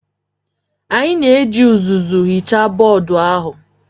Anyị na-eji uzuzu hichaa bọọdụ ahụ